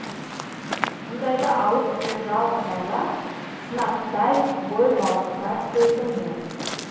мұндайда алып түсер жалғыз айла сынаптай бой балқытар сөздің жөні